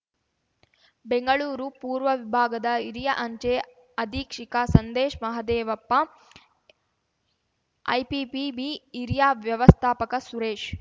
ಬೆಂಗಳೂರು ಪೂರ್ವ ವಿಭಾಗದ ಹಿರಿಯ ಅಂಚೆ ಅಧೀಕ್ಷಿಕ ಸಂದೇಶ್‌ ಮಹದೇವಪ್ಪ ಐಪಿಪಿಬಿ ಹಿರಿಯ ವ್ಯವಸ್ಥಾಪಕ ಸುರೇಶ್‌